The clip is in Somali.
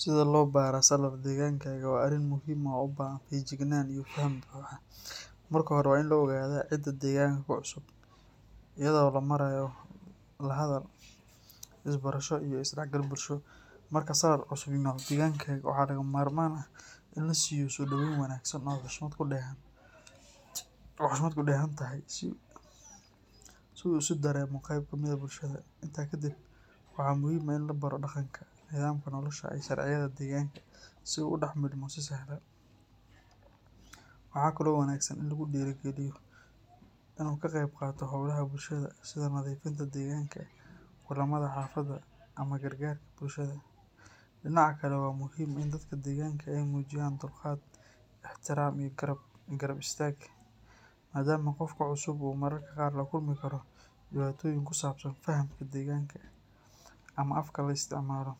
Sida loo baraa salaar deegaankaaga waa arrin muhiim ah oo u baahan feejignaan iyo faham buuxa. Marka hore, waa in la ogaadaa cidda deegaanka ku cusub, iyadoo loo marayo la hadal, isbarasho iyo is dhexgal bulsho. Marka salaar cusub yimaado deegaankaaga, waxaa lagama maarmaan ah in la siiyo soo dhoweyn wanaagsan oo xushmad ku dheehan tahay si uu isu dareemo qayb ka mid ah bulshada. Intaa kadib, waxaa muhiim ah in la baro dhaqanka, nidaamka nolosha, iyo sharciyada deegaanka si uu ugu dhex milmo si sahlan. Waxaa kaloo wanaagsan in lagu dhiirrigeliyo inuu ka qayb qaato hawlaha bulshada sida nadiifinta deegaanka, kulamada xaafadda, ama gargaarka bulshada. Dhinaca kale, waa muhiim in dadka deegaanka ay muujiyaan dulqaad, ixtiraam iyo garab istaag, maadaama qofka cusub uu mararka qaar la kulmi karo dhibaatooyin ku saabsan fahamka deegaanka ama afka la isticmaalo.